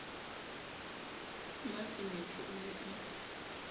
le mafenethe o ne a